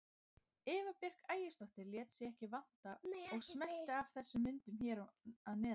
Eva Björk Ægisdóttir lét sig ekki vanta og smellti af þessum myndum hér að neðan.